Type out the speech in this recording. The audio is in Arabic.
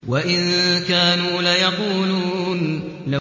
وَإِن كَانُوا لَيَقُولُونَ